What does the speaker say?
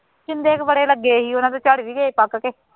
ਸ਼ਿੰਦੇ ਦੇ ਬੜੇ ਲੱਗੇ ਸੀ ਉਹਨਾ ਦੇ ਝੜ ਵੀ ਗਏ ਪੱਕ ਕੇ